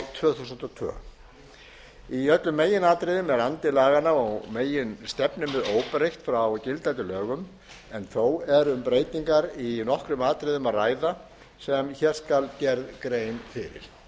tvö þúsund og tvö í öllum meginatriðum er andi laganna og meginstefnumið óbreytt frá gildandi lögum en þó er um breytingar í nokkrum atriðum að ræða sem hér skal gerð grein fyrir